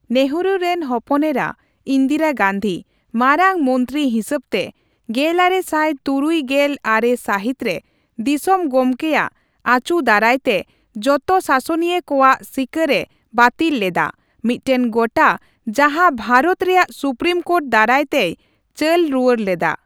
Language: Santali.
ᱱᱮᱦᱮᱨᱩ ᱨᱮᱱ ᱦᱚᱯᱚᱱᱮᱨᱟ, ᱤᱱᱫᱤᱨᱟ ᱜᱟᱱᱫᱷᱤ, ᱢᱟᱨᱟᱝ ᱢᱚᱱᱛᱨᱤ ᱦᱤᱥᱟᱹᱵᱛᱮ, ᱜᱮᱞᱟᱨᱮ ᱥᱟᱭ ᱛᱩᱨᱩᱭ ᱜᱮᱞ ᱟᱨᱮ ᱥᱟᱹᱦᱤᱛ ᱨᱮ ᱫᱤᱥᱚᱢ ᱜᱚᱢᱠᱮᱭᱟᱜ ᱟᱪᱩ ᱫᱟᱨᱟᱭ ᱛᱮ ᱡᱚᱛᱚ ᱥᱟᱥᱚᱱᱤᱭᱟᱹ ᱠᱚᱣᱟᱜ ᱥᱤᱠᱟᱹᱨ ᱮ ᱵᱟᱹᱛᱤᱞ ᱞᱮᱫᱟ, ᱢᱤᱫᱴᱮᱱ ᱜᱚᱴᱟ ᱡᱟᱦᱟᱸ ᱵᱷᱟᱨᱚᱛ ᱨᱮᱭᱟᱜ ᱥᱩᱯᱨᱤᱢ ᱠᱳᱴ ᱫᱟᱨᱟᱭ ᱛᱮᱭ ᱪᱟᱹᱞ ᱨᱩᱭᱟᱹᱲ ᱞᱮᱫᱟ ᱾